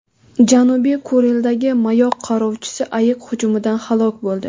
Janubiy Kurildagi mayoq qarovchisi ayiq hujumidan halok bo‘ldi.